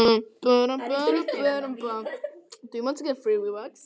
Það verður nægt rými fyrir sauðina.